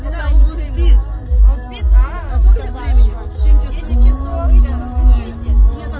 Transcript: знание вед изменит книги